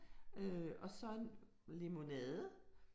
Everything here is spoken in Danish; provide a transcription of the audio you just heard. Øh og så en limonade